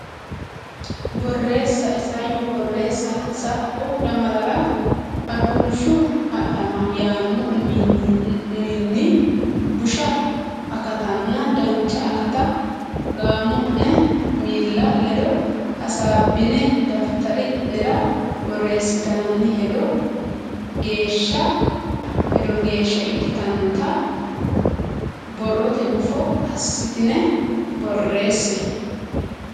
Borreessa Isayyo Borreessa Sa u lamalara Aduulshu Adhama yaanno wuminni busha akatanna dancha akata gaamo ne miilla ledo hasaabbine daftari nera borreessitini hedo geeshsha ikkitannota borrote gufo assitine borreesse.